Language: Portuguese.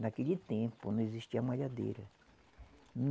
Naquele tempo não existia malhadeira.